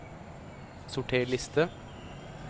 Sorter liste